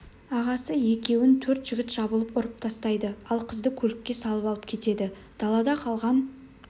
ағасы екеуін төрт жігіт жабылып ұрып тастайды ал қызды көлікке салып алып кетеді далада қалған